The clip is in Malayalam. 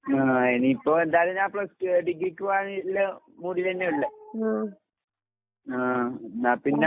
ആഹ് ഇനിയിപ്പോ എന്തായാലും ഞാൻ പ്ലസ് ടു ഡിഗ്രിക്ക് പോകാന്ള്ള മൂഡിലന്നെയിള്ളെ. ആഹ് എന്നാപ്പിന്നെ